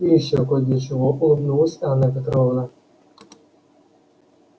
и ещё кой для чего улыбнулась анна петровна